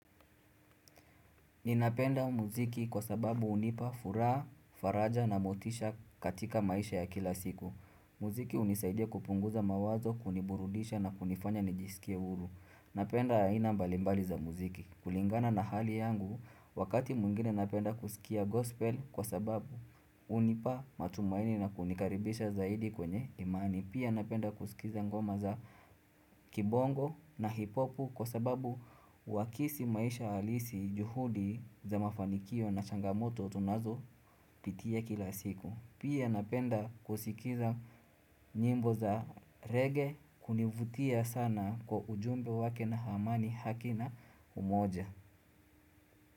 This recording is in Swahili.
Ninapenda muziki kwa sababu hunipa furaha, faraja na motisha katika maisha ya kila siku. Muziki hunisaidia kupunguza mawazo, kuniburudisha na kunifanya nijisikie huru. Napenda aina mbalimbali za muziki. Kulingana na hali yangu, wakati mwingine napenda kusikia gospel kwa sababu hunipa matumaini na kunikaribisha zaidi kwenye imani. Pia napenda kusikiza ngoma za kibongo na hip hop kwa sababu huakisi maisha alisi, juhudi za mafanikio na changamoto tunazo pitia kila siku Pia napenda kusikiza nyimbo za rege hunivutia sana kwa ujumbe wake na amani haki na umoja.